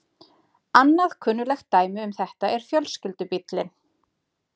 Annað kunnuglegt dæmi um þetta er fjölskyldubíllinn.